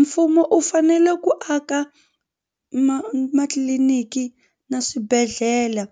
Mfumo u fanele ku aka ma matliliniki na swibedhlele